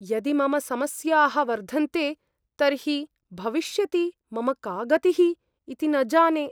यदि मम समस्याः वर्धन्ते तर्हि भविष्यति मम का गतिः इति न जाने।